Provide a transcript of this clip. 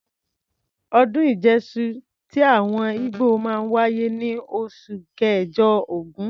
Ọdún Ìjẹ́ṣu ti àwọn ígbò máa ń wáyé ní oṣù kẹ̀jọ(ògún).